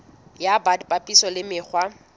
ya bt papisong le mekgwa